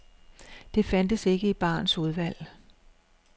Det fandtes ikke i barens udvalg.